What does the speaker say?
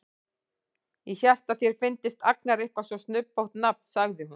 Ég hélt að þér fyndist Agnar eitthvað svo snubbótt nafn, sagði hún.